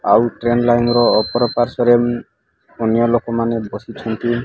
ଆଉ train line ର ଓପର ପାର୍ଶ୍ୱରେ ଉଁ ଅନ୍ୟ ଲୋକ ମାନେ ବସିଛନ୍ତି।